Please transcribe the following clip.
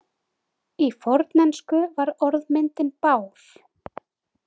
Í fornensku var orðmyndin bár.